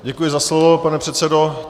Děkuji za slovo, pane předsedo.